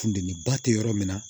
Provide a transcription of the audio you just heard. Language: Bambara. Funteni ba te yɔrɔ min na